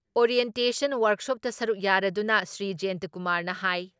orientation ꯋꯥꯔꯛꯁꯣꯞꯇ ꯁꯔꯨꯛ ꯌꯥꯔꯗꯨꯅ ꯁ꯭ꯔꯤ ꯖꯌꯦꯟꯇꯀꯨꯃꯥꯔ ꯍꯥꯏ